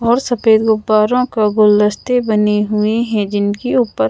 और सफेद गुब्बारों का गुलस्ते बनी हुई है जिनके ऊपर--